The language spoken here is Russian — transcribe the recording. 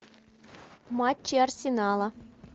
матчи арсенала